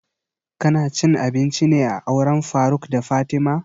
Ka na cin abinci ne a auren faruk da fatima?